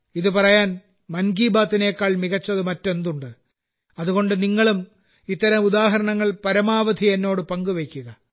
ഇത് പറയാൻ മൻ കി ബാത്ത്നേക്കാൾ മികച്ചത് മറ്റെന്തുണ്ട് അതുകൊണ്ട് നിങ്ങളും ഇത്തരം ഉദാഹരണങ്ങൾ പരമാവധി എന്നോടു പങ്കുവയ്ക്കുക